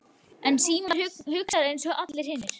En Símon hugsar einsog allir hinir.